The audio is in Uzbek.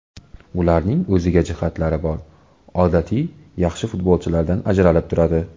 Ularning o‘ziga jihatlari bor, odatiy yaxshi futbolchilardan ajralib turadi.